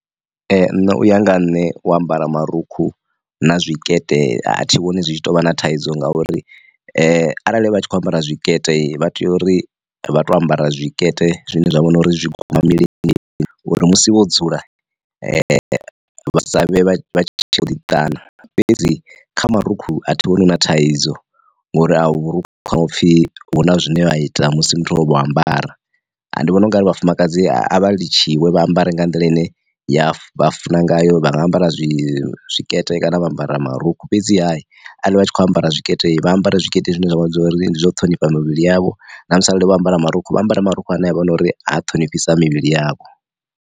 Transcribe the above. Nṋe uya nga ha nne wo ambara marukhu na zwikete a thi vhoni zwi tshi tou vha na thaidzo ngauri arali vha tshi kho ambara tshikete vha tea uri vha tea u ambara zwikete zwine zwa vhona uri zwi guma milenzheni, uri musi vho dzula vha sa vhe vha vha tshi u ḓi ṱana, fhedzi kha marukhu a thi vhoni hu na thaidzo ngori a vhurukhu hawe upfhi huna zwine vha ita musi muthu o vho ambaradi. Nvhona u ngari vhafumakadzi a vha litshiwe vha ambare nga nḓila ine ya vha funa ngayo vha nga ambara zwi tshikete kana vha ambara marukhu fhedziha arali vha tshi kho ambara tshikete vha ambara tshikete zwine zwavha dza uri ndi zwo ṱhonifha mivhili yavho, na musi arali vho ambara marukhu vha ambare ma rukhu ane avha na uri a ṱhonifhisa mivhili yavho.